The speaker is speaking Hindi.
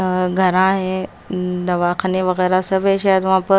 घरा है दवाखाने वगैरह सब है शायद वहाँ पर--